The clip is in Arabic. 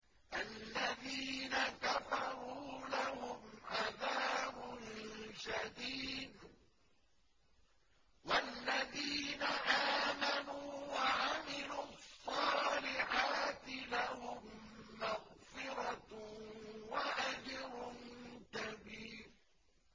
الَّذِينَ كَفَرُوا لَهُمْ عَذَابٌ شَدِيدٌ ۖ وَالَّذِينَ آمَنُوا وَعَمِلُوا الصَّالِحَاتِ لَهُم مَّغْفِرَةٌ وَأَجْرٌ كَبِيرٌ